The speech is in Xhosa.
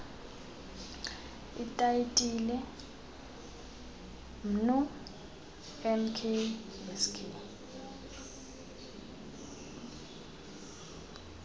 itayitile mnu nksk